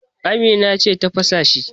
Amina ce ta fasa shi.